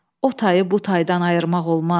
o tayı bu taydan ayırmaq olmaz.